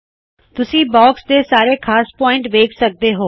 ਤੁਸੀ ਬਾਕਸ ਦੇ ਸਾਰੇ ਖ਼ਾਸ ਪੌਇਂਟਸ ਵੇਖ ਸਕਦੇ ਹੋ